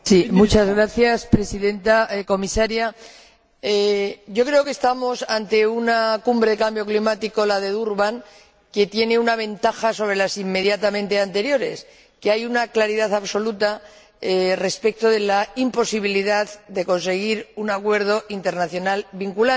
Señora Presidenta, señora Comisaria, yo creo que estamos ante una Cumbre sobre el Cambio Climático, la de Durban, que tiene una ventaja sobre las inmediatamente anteriores hay una claridad absoluta respecto de la imposibilidad de conseguir un acuerdo internacional vinculante.